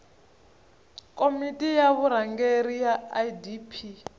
komiti ya vurhangeri ya idp